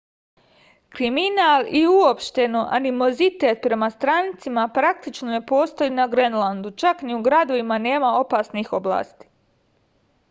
kriminal i uopšteno animozitet prema strancima praktično ne postoje na grenlandu čak ni u gradovima nema opasnih oblasti